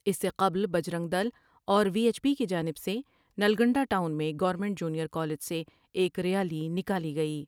اس سے قبل بجرنگ دل اور وی ایچ پی کی جانب سے نلگنڈہ ٹاؤن میں گورنمنٹ جونیئر کالج سے ایک ریالی نکالی گئی ۔